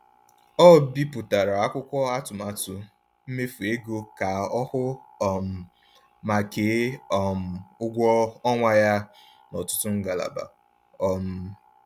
Ọ bipụtara akwụkwọ atụmatụ mmefu ego ka ọ hụ um ma kee um ụgwọ ọnwa ya n’ọtụtụ ngalaba. um